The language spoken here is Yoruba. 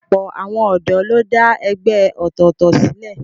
Ọ̀pọ̀ àwọn ọ̀dọ́ ló dá ẹgbẹ́ ọ̀tọ̀ọ̀tọ̀ sílẹ̀